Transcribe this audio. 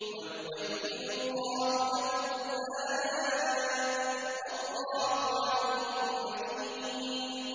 وَيُبَيِّنُ اللَّهُ لَكُمُ الْآيَاتِ ۚ وَاللَّهُ عَلِيمٌ حَكِيمٌ